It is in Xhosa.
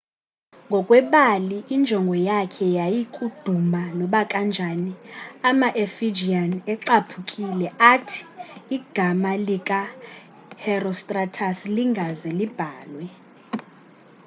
ngokwebali injongo yakhe yayikuduma nobakanjani ama-efijian ecaphukile athi igama lika herostratus lingaze libhalwe